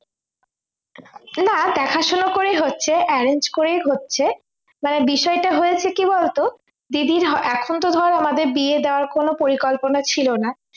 না দেখা শোনা করেই হচ্ছে arrange করেই হচ্ছে মানে বিষয়টা কি হয়েছে বলতো দিদির এখন তো ধর আমাদের বিয়ে দেওয়ার কোন পরিকল্পনা ছিলো না